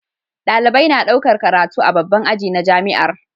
Dalibai na ɗaukar karatu a babban aji na jamiar